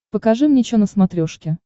покажи мне чо на смотрешке